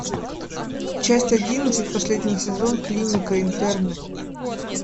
часть одиннадцать последний сезон клиника интерны